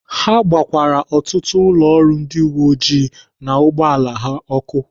Ha gbakwaara ọtụtụ ụlọ ọrụ ndị uweojii na ụgbọala ha ọkụ.